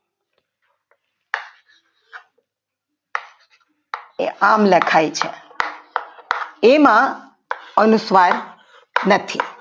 એ આમ લખાય છે એમાં અનુસ્વાર નથી